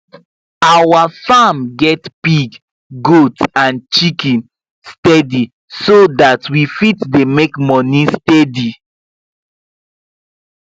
our farm get pig goat and chicken steady so that we fit dey make moni steady